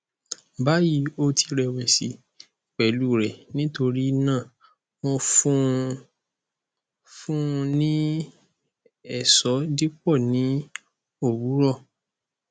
bayi o ti rẹwẹsi pẹlu rẹ nitorinaa mo fun u ni fun u ni eso dipo ni owurọ